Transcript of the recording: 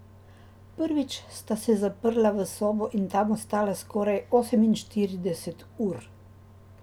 Prvič sta se zaprla v sobo in tam ostala skoraj oseminštirideset ur.